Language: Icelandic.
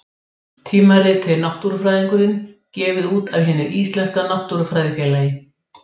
Tímaritið Náttúrufræðingurinn, gefið út af Hinu íslenska náttúrufræðifélagi.